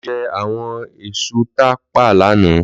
Lò jè áwòn èsú tá pá làná